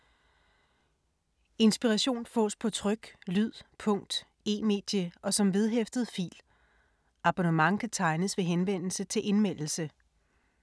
Inspiration fås på tryk, lyd, punkt, e-medie og som vedhæftet fil. Abonnement kan tegnes ved henvendelse til Indmeldelse.